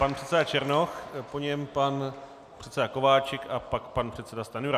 Pan předseda Černoch, po něm pan předseda Kováčik a pak pan předseda Stanjura.